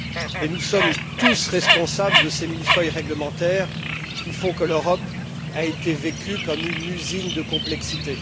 Et nous sommes tous responsables de ces millefeuilles réglementaires qui font que l'Europe a été vécue comme une usine de complexité.